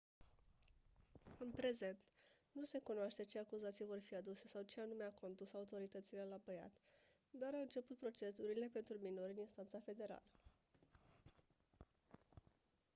în prezent nu se cunoaște ce acuzații vor fi aduse sau ce anume a condus autoritățile la băiat dar au început procedurile pentru minori în instanța federală